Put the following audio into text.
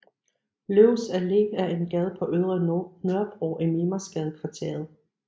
Løvs Allé er en gade på Ydre Nørrebro i Mimersgadekvarteret